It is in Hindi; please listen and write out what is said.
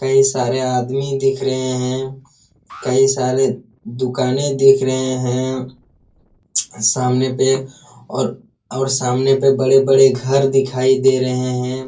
कई सारे आदमी दिख रहे हैं कई सारे दुकाने दिख रहे हैं सामने पे और और सामने पे बड़े-बड़े घर दिखाई दे रहे हैं।